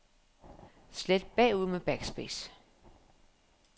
Slet bagud med backspace.